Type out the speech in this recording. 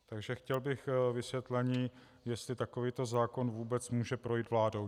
Takže chtěl bych vysvětlení, jestli takovýto zákon vůbec může projít vládou.